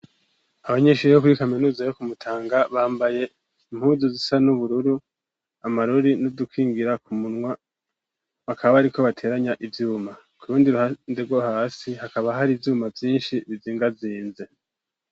Abanyishuri yo kuri kaminuza yo kumutanga bambaye impuzu zisa n'ubururu amarori nudukingira ku munwa bakaba, ariko bateranya ivyuma ku rundi ruhandero hasi hakaba hari ivyuma vyinshi bizinga zinze.